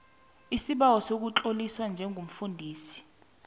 isibawo sokutloliswa njengomfundisi